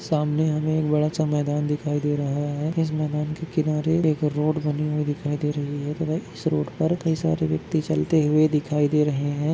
सामने हमें एक बड़ा दिखाई दे रहा है इस मैदान के किनारे एक रोड बनी हुई दिखाई दे रही है तथा इस रोड पर कई सारे व्यक्ति चलते हुए दिखाई दे रहे हैं।